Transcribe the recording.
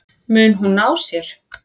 Mun hún ná sér?